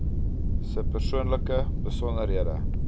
se persoonlike besonderhede